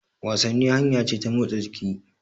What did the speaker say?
Wasanni hanya ce ta motsa jiki.